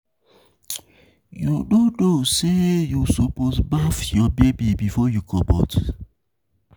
You no know sey you suppose baff your baby before you comot?